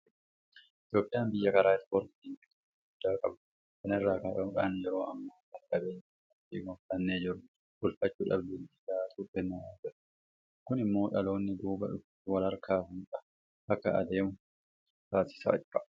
Itoophiyaan biyya karaa ispoortiitiin beekamtii guddaa qabdudha. Kana irraa ka'uudhaan yeroo ammaa kana qabeenya beekamtii goonfannee jirru bulfachuudhaaf leenjii gahaatu kennamaa jira. Kun immoo dhaloonni duubaa dhufus walharkaa fuudhaa akka deemu taasisaa jira.